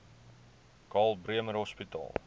karl bremer hospitaal